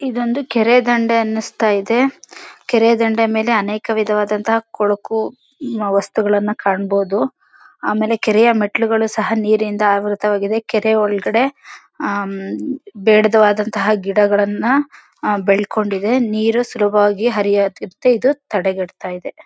ಇದೊಂದು ಕೆರೆ ದಂಡೇ ಅನ್ನಿಸ್ತಾ ಇದೆ. ಕೆರೆ ದಂಡೇ ಮೇಲೆ ಅನೇಕ ವಿಧವಾದಂತ ಕೊಳಕು ಹ್ಮ್ ವಸ್ತುಗಳ್ನ ಕಾಣ್ಬೋದು. ಆಮೇಲೆ ಕೆರೆಯ ಮೆಟ್ಟಿಲುಗಳು ಸಹ ನೀರಿನಿಂದ ಆವೃತವಾಗಿದೆ. ಕೆರೆ ಒಳಗಡೆ ಆ ಬೆಡ್ದೇ ವಾದಂತಹ ಗಿಡಗಳನ್ನ ಅಹ್ ಬೆಳ್ಕೊಂಡಿದೆ. ನೀರು ಸುಲಭವಾಗಿ ಹರಿಯೋ ಕ್ ಇದು ತಡೆ ಗೇಡಿತ ಇದೆ.